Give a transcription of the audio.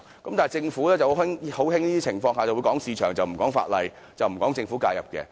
但是，政府卻很喜歡在這種情況下談市場而不談法例、不談政府介入。